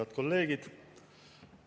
Head kolleegid!